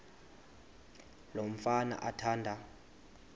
lo mfana athanda